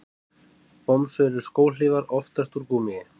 Bomsur eru skóhlífar, oftast úr gúmmíi.